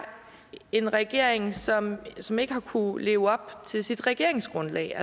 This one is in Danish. en regering som som ikke har kunnet leve op til sit regeringsgrundlag